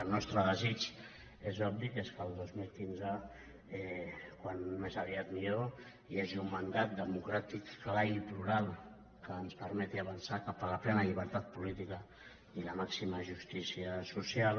el nostre desig és obvi que és que el dos mil quinze com més aviat millor hi hagi un mandat democràtic clar i plural que ens permeti avançar cap a la plena llibertat política i la màxima justícia social